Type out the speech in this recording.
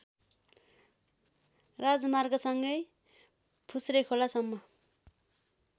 राजमार्गसँगै फुस्रेखोला सम्म